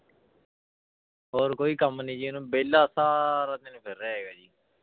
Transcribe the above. ਹੋਰ ਕੋਈ ਕੰਮ ਨੀ ਜੀ ਉਹਨੂੰ ਵਿਹਲਾ ਸਾਰਾ ਦਿਨ ਫਿਰ ਰਿਹਾ ਹੈਗਾ ਜੀ।